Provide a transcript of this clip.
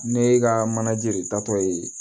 Ne ka manaje de taatɔ ye